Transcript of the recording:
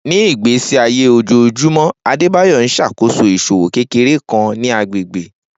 Ni igbesi aye ojoojumọ, Adebayor n ṣakoso iṣowo kekere kan ni agbegbe.